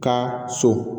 Ka so